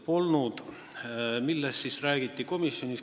Millest siis komisjonis räägiti?